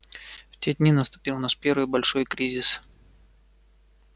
в те дни наступил наш первый большой кризис